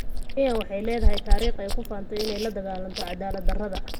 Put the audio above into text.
Kenya waxay leedahay taariikh ay ku faanto inay la dagaalanto cadaalad darada.